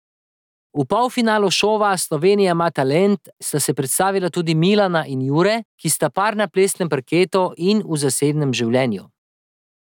V polfinalu šova Slovenija ima talent sta se predstavila tudi Milana in Jure, ki sta par na plesnem parketu in v zasebnem življenju.